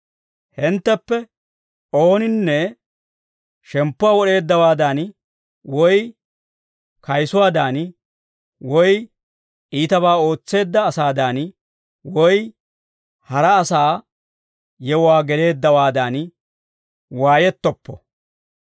Hintteppe ooninne shemppuwaa wod'eeddawaadan, woy kayisuwaadan, woy iitabaa ootseedda asaadan, woy hara asaa yewuwaa geleeddawaadan waayettoppo.